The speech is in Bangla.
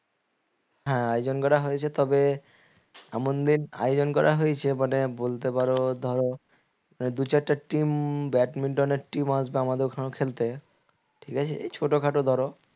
হ্যাঁ আয়োজন করা হয়েছে তবে এমন দিন আয়োজন করা হয়েছে মানে বলতে পারো ধরো দু'চারটা team ব্যাডমিন্টনের team আসবে আমাদের ওখানেও খেলতে ঠিক আছে এই ছোটখাটো ধরো